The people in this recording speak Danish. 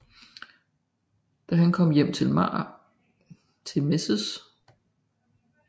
Da han kommer hjem til Mrs